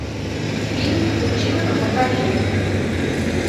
фильм училка покажи